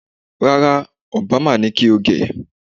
Rárá, Obama ni kí o gẹ̀